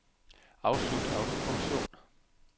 Afslut autofunktion.